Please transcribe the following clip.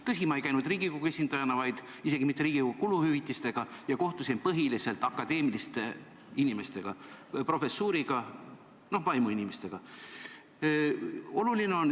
Tõsi, ma ei käinud seal Riigikogu esindajana – isegi mitte Riigikogu kuluhüvitiste eest – ja kohtusin põhiliselt akadeemiliste inimestega, professuuriga, vaimuinimestega.